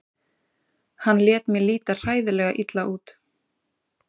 Hann lét mig líta hræðilega illa út.